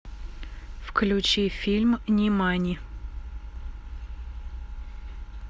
включи фильм нимани